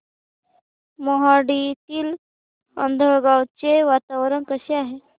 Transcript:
मोहाडीतील आंधळगाव चे वातावरण कसे आहे